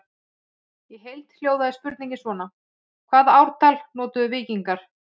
Í heild hljóðaði spurningin svona: Hvaða ártal notuðu víkingar?